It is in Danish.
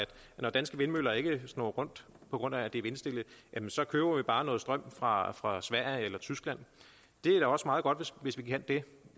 når danske vindmøller ikke snurrer rundt på grund af at det er vindstille så køber vi bare noget strøm fra fra sverige og tyskland det er da også meget godt hvis vi kan det